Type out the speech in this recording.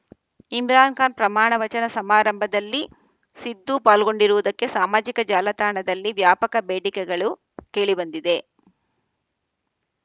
ಇಮ್ರಾನ್‌ ಖಾನ್‌ ಪ್ರಮಾಣವಚನ ಸಮಾರಂಭದಲ್ಲಿ ಸಿಧು ಪಾಲ್ಗೊಂಡಿರುವುದಕ್ಕೆ ಸಾಮಾಜಿಕ ಜಾಲತಾಣಗತಲ್ಲಿ ವ್ಯಾಪಕ ಬೇಡಿಕೆಗಳು ಕೇಳಿಬಂದಿವೆ